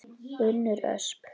Unnur Ösp.